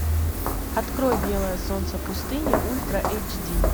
открой белое солнце пустыни ультра эйчди